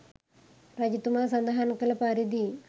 රජතුමා සඳහන් කළ පරිදි